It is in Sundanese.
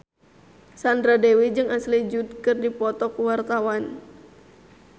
Sandra Dewi jeung Ashley Judd keur dipoto ku wartawan